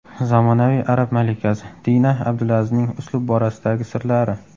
Zamonaviy arab malikasi: Dina Abdulazizning uslub borasidagi sirlari .